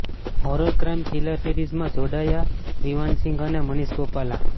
horror crime thriller સિરીઝમાં જોડાયા વિવાન સિંઘ અને મનીષ ગોપાલા